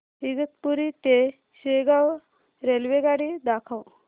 इगतपुरी ते शेगाव रेल्वेगाडी दाखव